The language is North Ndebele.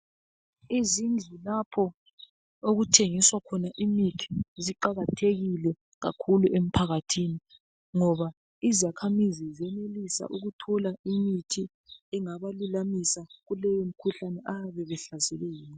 Izindlu lapha okuthengiswa khona imithi ziqakathekile kakhulu emphakathini ngoba izakhamizi ziyenelisa ukuthola usizo kumikhuhlane eyabe ibahlasele